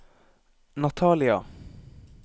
Natalia